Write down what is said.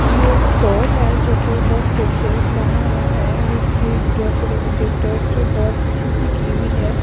यह एक स्टोर है जो के बहुत खूबसूरत बना हुआ है और इसकी डेकरेट डेकोरटेड बहुत अच्छी सी की हुई है।